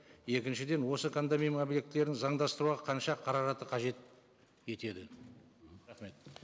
екіншіден осы кондоминиум объектілерін заңдастыруға қанша қаражатты қажет етеді рахмет